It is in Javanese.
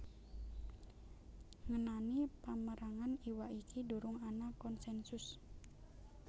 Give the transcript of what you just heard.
Ngenani pamérangan iwak iki durung ana konsènsus